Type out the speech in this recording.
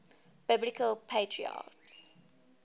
biblical patriarchs